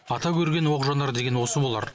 ата көрген оқ жонар деген осы болар